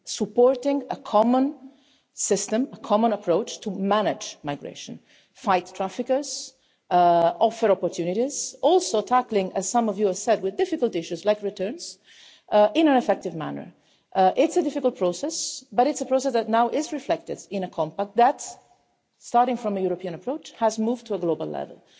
supporting a common system and a common approach to manage migration, fight traffickers, offer opportunities and also to tackle, as some of you have said, difficult issues like returns, in an effective manner. It's a difficult process, but it's a process that is now reflected in a Compact that, starting from a European approach, has moved to a global level.